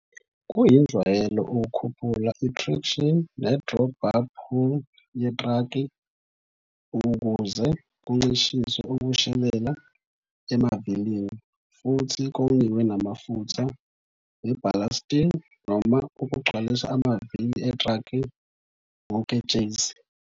Kuyinjwayelo ukukhuphula itraction nedraw bar pull yetraki ukuze kuncishiswe ukushelela emavilini futhi kongiwe namafutha ngeballasting noma ukugcwalisa amavili etraki ngoketshezi.